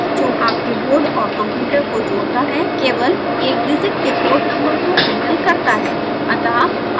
serial tool box जो आपके board और कंप्यूटर को जोड़ता है केवल एकडिजिट के पोर्ट नंबर को हैंडल करता है